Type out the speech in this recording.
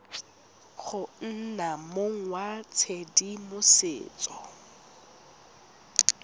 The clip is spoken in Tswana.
go nna mong wa tshedimosetso